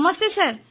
Namaste sir